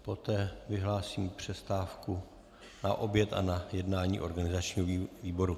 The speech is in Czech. Poté vyhlásím přestávku na oběd a na jednání organizačního výboru.